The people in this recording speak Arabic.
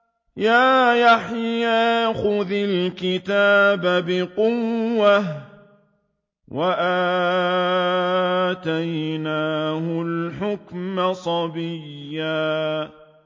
يَا يَحْيَىٰ خُذِ الْكِتَابَ بِقُوَّةٍ ۖ وَآتَيْنَاهُ الْحُكْمَ صَبِيًّا